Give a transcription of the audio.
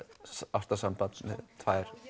ástarsambandi við tvær